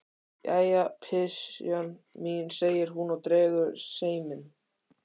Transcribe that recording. Jæja, pysjan mín, segir hún og dregur seiminn.